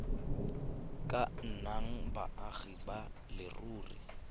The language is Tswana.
ka nnang baagi ba leruri